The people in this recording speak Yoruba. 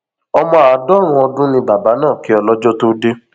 ọmọ àádọrùnún ọdún ni bàbá náà kí ọlọjọ tóo dé